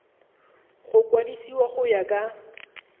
go kwadisiwa go ya ka